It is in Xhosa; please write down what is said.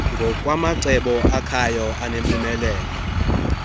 ngokwamacebo akhayo nanempumelelo